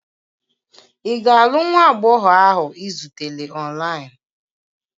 Ị ga-alụ nwa agbọghọ ahụ ị zutere online?